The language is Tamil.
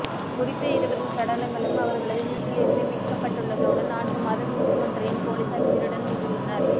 குறித்த இருவரின் சடலங்களும் அவர்களது வீட்டில் இருந்து மீட்கப்பட்டுள்ளதோடு நான்கு மாத சிசு ஒன்றையும் பொலிஸார் உயிருடன் மீட்டுள்ளனர்